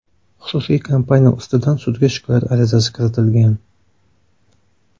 Xususiy kompaniya ustidan sudga shikoyat arizasi kiritilgan.